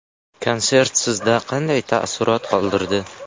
Konsert sizda qanday taassurot qoldirdi?